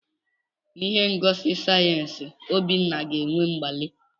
N'ihe ngosi sayensị, Obinna ga-eme nnwale.